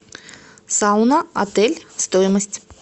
сауна отель стоимость